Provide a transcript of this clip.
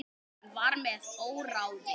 Hann var með óráði.